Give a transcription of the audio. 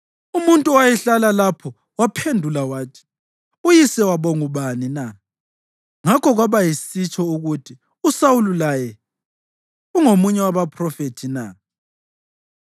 Umuntu owayehlala lapho waphendula wathi, “Uyise wabo ngubani na?” Ngakho kwaba yisitsho ukuthi: “USawuli laye ungomunye wabaphrofethi na?”